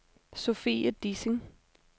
Sofie Dissing